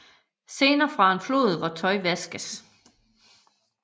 Scener fra en flod hvor tøj vaskes